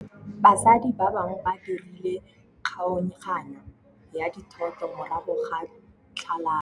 Batsadi ba gagwe ba dirile kgaoganyô ya dithoto morago ga tlhalanô.